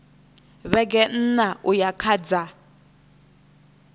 vhege nṋa uya kha dza